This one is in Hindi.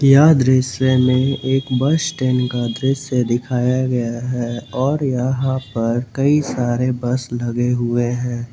यह दृश्य में एक बस स्टैंड का दृश्य दिखाया गया है और यहां पर कई सारे बस लगे हुए हैं।